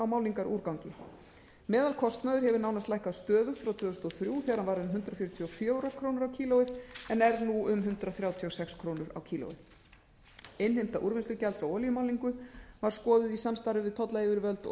á málningarúrgangi meðalkostnaður hefur nánast lækkað stöðugt frá tvö þúsund og þrjú þegar hann var um hundrað fjörutíu og fjórar krónur kílógrömm innheimta úrvinnslugjalds á olíumálningu var skoðuð í samstarfi við tollyfirvöld og